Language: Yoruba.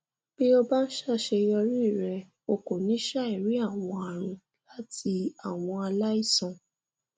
bí o bá ń ṣàṣeyọrí rẹ o kò ní ṣàìrí àwọn àrùn láti àwọn aláìsàn